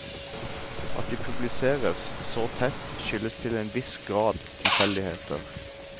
At de publiseres så tett, skyldes til en viss grad tilfeldigheter.